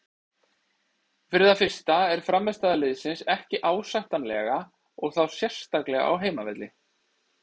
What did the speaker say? Fyrir það fyrsta er frammistaða liðsins ekki ásættanlega og þá sérstaklega á heimavelli.